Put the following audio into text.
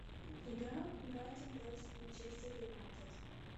игра брайтон против манчестер юнайтед